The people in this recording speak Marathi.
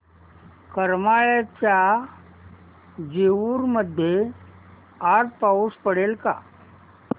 करमाळ्याच्या जेऊर मध्ये आज पाऊस पडेल का